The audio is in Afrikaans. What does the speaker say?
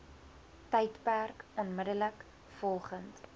tydperk onmiddellik volgend